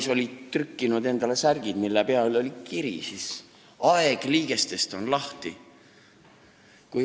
Nad olid tellinud endale särgid, mille peal oli kiri "Aeg liigestest on lahti".